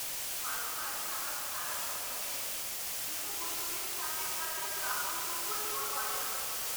মাঝে মাঝে আমার খারাপ লাগে যে গৃহবধূদের তাদের কাজের প্রাপ্যটুকুও দেওয়া হয় না।